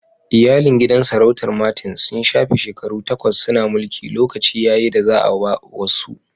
Iyalin gidan sarautar Martins sun shafe shekaru takwas suna mulki, lokaci ya yi da za'a ba wasu.